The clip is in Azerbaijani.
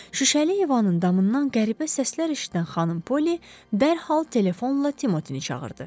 Şüşəli eyvanın damından qəribə səslər eşidən xanım Poli dərhal telefonla Timotin çağırdı.